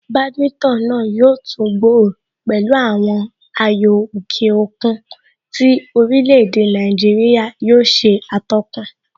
Badminton náà yóò tún gbòòrò pẹ̀lú àwọn ayò òkè òkun tí orílè èdè Nàìjíríà yóò ṣe atọ́kùn